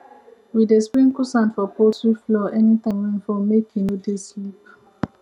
we dey sprinkle sand for poultry floor anytime rain fall make e no dey slip